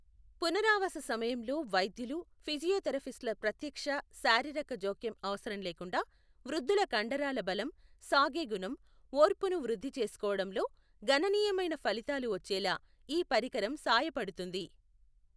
పునరావాస సమయంలో వైద్యులు, ఫిజియోథెరపిస్టుల ప్రత్యక్ష, శారీరక జోక్యం అవసరం లేకుండా, వృద్ధుల కండరాల బలం, సాగే గుణం, ఓర్పును వృద్ధి చేసుకోవడంలో గణనీయమైన ఫలితాలు వచ్చేలా ఈ పరికరం సాయపడుతుంది.